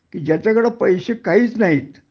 कि ज्याच्याकडे पैशे काहीच नाहीत